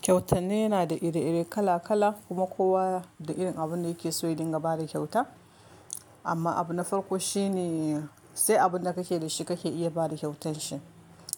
Kyautane yana da iri-iri kala-kala kuma kowa da irin abunda yake so ya dinga bada kyauta. Amma abuna farko shine, sai abunda kake da shi kake iya bada kyautar shi.